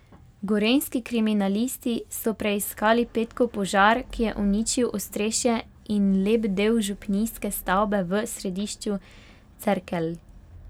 Gorenjski kriminalisti so preiskali petkov požar, ki je uničil ostrešje in lep del župnijske stavbe v središču Cerkelj.